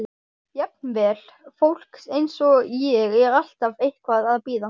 Jafnvel fólk eins og ég er alltaf eitthvað að bíða.